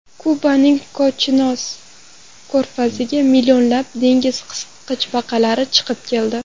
Kubaning Kochinos ko‘rfaziga millionlab dengiz qisqichbaqalari chiqib keldi.